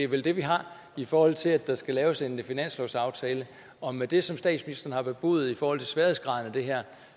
vel det vi har i forhold til at der skal laves en finanslovsaftale og med det som statsministeren har bebudet i forhold til sværhedsgraden af det her